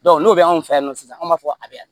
n'o bɛ an fɛ yan nɔ sisan an b'a fɔ a bɛ yan